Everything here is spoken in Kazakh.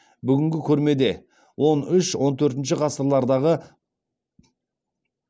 бүгінгі көрмеде он үш он төртінші ғасырлардағы